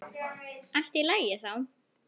Allt í lagi þá.